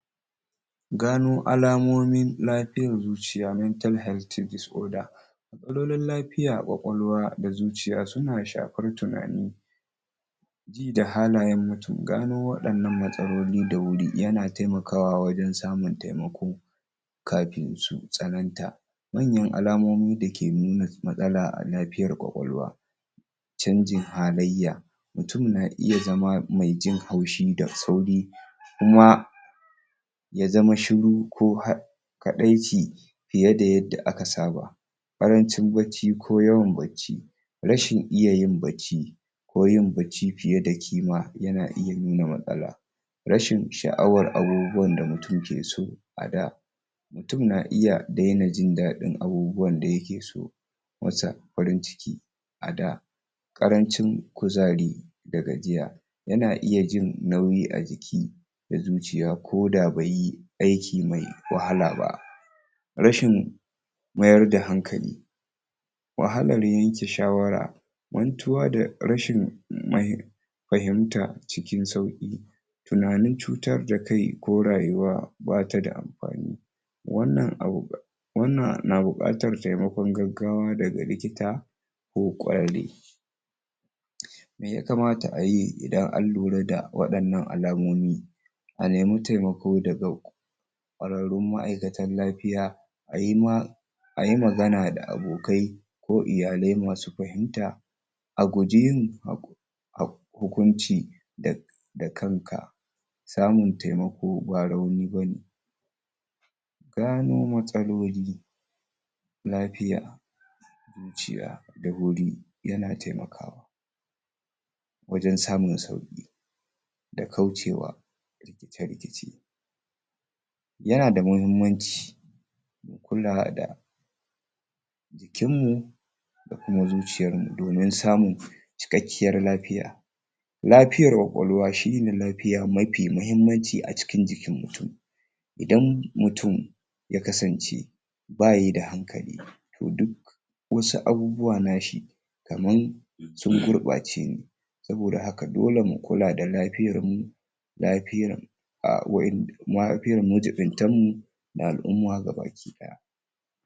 gano alamumin lafiyar zuciya mental health and disorder matsalolin lafiyar kwakwalwa da zuciya suna shafar tunani ji da halayen mutum gano wadannan matsalolin da wuri yana taimakawa wajen samun taimako kafin su tsananta manyan alamomi dake nuna matsala a lafiyar kwakwalwa canjin halaiya mutum na iya zama mai jin haushi da sauri kuma ya zama shuru ko ha kaɗai ci fiye da yadda aka saba ƙarancin bacci ko yawan bacci rashin iyayin bacci ko yin bacci fiye da kima yana iya nuna matsala rashin sha'awar abubuwan da mutum ke so a da mutum na iya daina jindaɗin abubuwan da yake so musa ran jiki a da ƙarancin kuzari da gajiya yana iya jin nauyi a jiki na zuciya koda baiyi aiki mai wahala ba rashin mayar da hankali wahalar yanke shawara mantuwa da rashin fahim fahimta cikin sauƙi tunanin cutar da kai ko rayuwa batada amfani wannan abu da wannan na buƙatar taimakon gaggawa daga likita ko ƙwararre me ya kamata ayi idan an lura da waɗannan alamomi a nemi taimako daga ƙwararrun ma'aikatar lafiya ayi ma ayi magana da abokai ko iyalai masu fahimta a guji yin hukunci da kanka samun taimako ba rauni bane gano matsaloli lafiya zuciya daga yana taimaka wajen samun sauki da kaucewa da rikici yana da muhimmanci kula da jikin mu ko zuciyar mu domin samun cikakkiyar lafiya lafiyar kwakwalwa shine lafiyar mafi muhimmanci a jikin mutum idan mutum ya kasance bayida hankali to duk wasu abubuwa nashi kaman sun gurɓace ne saboda haka dole mu kula da lafiyar mu lafiyar a wayannan lafiyar majiɓuntan mu da al'umma baki ɗaya